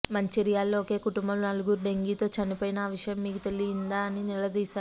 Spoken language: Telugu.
మంచిర్యాలలో ఒకే కుటుంబంలో నలుగురు డెంగీతో చనిపోయినా ఆ విషయం మీకు తెలియదా అని నిలదీశారు